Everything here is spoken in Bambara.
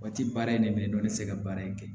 Waati baara in de bɛ ne dɔn ne tɛ se ka baara in kɛ